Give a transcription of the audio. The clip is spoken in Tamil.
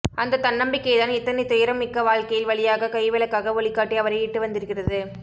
அந்த தன்ன்னம்பிக்கைதான் இத்தனை துயரம் மிக்க வாழ்க்கையில் வழியாக கைவிளக்காக ஒளிகாட்டி அவரை இட்டுவந்திருக்கிறது